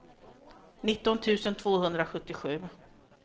nitton tusen tvåhundrasjuttiosju